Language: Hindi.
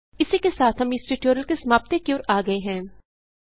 इसी के साथ हम इस ट्यूटोरियल की समाप्ति की ओर आ गये हैं